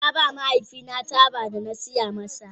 Na ba mahaifina taba da na saya masa.